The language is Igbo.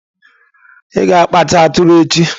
Ị ga-akpacha atụrụ echi.